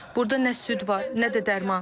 Burda nə süd var, nə də dərman.